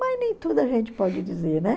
Mas nem tudo a gente pode dizer, né?